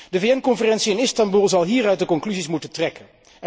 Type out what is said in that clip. De VN conferentie in Istanboel zal hieruit de conclusies moeten trekken.